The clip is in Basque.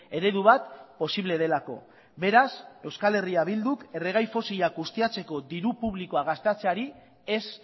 eredu bat posible delako beraz euskal herria bilduk erregai fosilak ustiatzeko diru publikoa gastatzeari ez